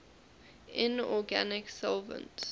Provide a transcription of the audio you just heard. inorganic solvents